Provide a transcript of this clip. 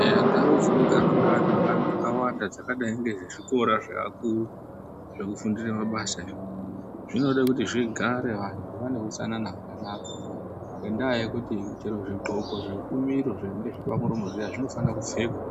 Eya ndau dzinogara neantu akawanda dzakadi nezvikora zveakuru zvekufundire mabasa izvo, zvinode kuti zvigare vantu vane utsanana hwakanaka ngendaa yekuti chero zvidxoko zvekumiro zvinenge zviripamuromo zviya zvinofanirwe kupfekwa